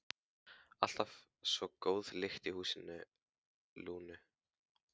Alltaf svo góð lyktin í húsi Lúnu.